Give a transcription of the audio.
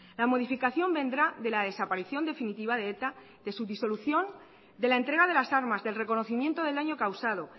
la modificación vendrá de la desaparición definitiva de eta de su disolución de la entrega de las armas del reconocimiento del daño causado